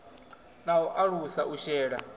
na u alusa u shela